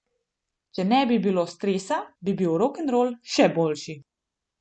Če ne bi bilo stresa, bi bil rokenrol še boljši.